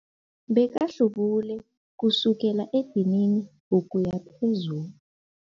Bekahlubule kusukela edinini ukuya phezulu.